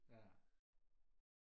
ja